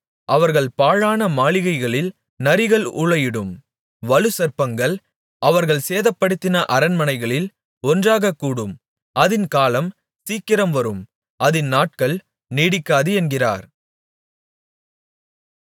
அவர்கள் பாழான மாளிகைகளில் நரிகள் ஊளையிடும் வலுசர்ப்பங்கள் அவர்கள் சேதப்படுத்தின அரண்மனைகளில் ஒன்றாகக் கூடும் அதின் காலம் சீக்கிரம் வரும் அதின் நாட்கள் நீடிக்காது என்கிறார்